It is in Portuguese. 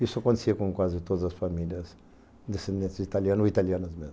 Isso acontecia com quase todas as famílias descendentes de italianos ou italianas mesmo.